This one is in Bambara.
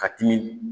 Ka timi